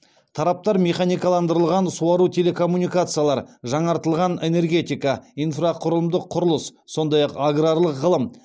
тараптар механикаландырылған суару телекоммуникациялар жаңартылған энергетика инфрақұрылымдық құрылыс сондай ақ аграрлық ғылым